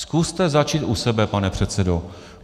Zkuste začít u sebe, pane předsedo.